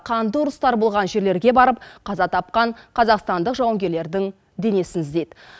қанды ұрыстар болған жерлерге барып қаза тапқан қазақстандық жауынгерлердің денесін іздейді